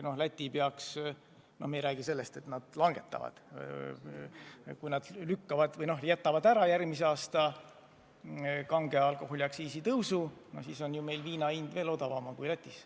Kui Läti peaks ära jätma kange alkoholi aktsiisi tõusu – me ei räägi sellest, et nad langetavad –, siis on ju meil viina hind veel odavam kui Lätis.